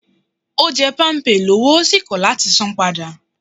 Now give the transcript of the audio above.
Ó jẹ́ Palmpay lọ́wọ́ ó sì kò láti san an padà